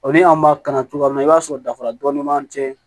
O ni an b'a kalan cogoya min na i b'a sɔrɔ dafara dɔɔni b'an cɛ